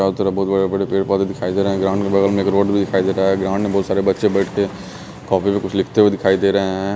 चारों तरफ बहुत बड़े बड़े पेड़ पौधे दिखाई दे रहे हैं ग्राउंड के बगल में एक रोड भी दिखाई दे रहा है ग्राउंड में बहुत सारे बच्चे बैठके कॉपी पे कुछ लिखते हुए दिखाई दे रहे हैं।